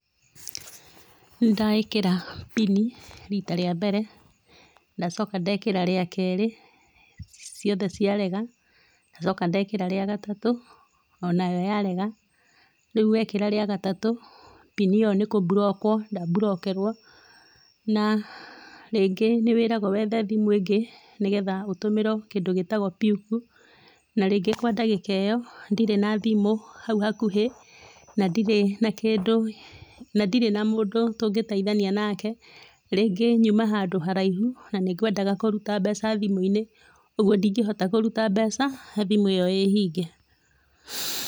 Nĩndekĩra pini rita rĩa mbere, ndacoka ndekĩra rĩa kerĩ, ciothe ciarega, ndacoka ndekĩra rĩa gatatu, onayo yarega, rĩu wekĩra rĩa gatatũ, pini ĩyo nĩ kũmburokwo ndamburokerwo na rĩngĩ nĩ wĩragwo wethe thimũ ĩngĩ nĩgetha ũtũmĩrwo kĩndũ gĩtagwo PUK na rĩngĩ kwa dagĩka ĩyo ndirĩ na thimũ hau hakuhĩ na ndirĩ na kĩndũ, na ndirĩ na mũndũ tũngĩteithania nake, rĩngĩ nyuma handũ haraihu na nĩngwendaga kũruta mbeca thimũ-inĩ, ũguo ndingĩhota kũruta mbeca thimũ ĩyo ĩhinge.